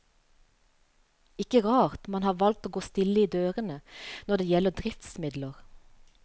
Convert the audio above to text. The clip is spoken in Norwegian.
Ikke rart man har valgt å gå stille i dørene når det gjelder driftsmidler.